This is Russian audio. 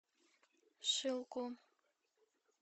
шилку